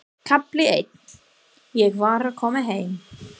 KAFLI EITT Ég var að koma heim.